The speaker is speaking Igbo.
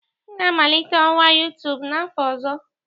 M ga-amalite ọwa YouTube n'afọ ọzọ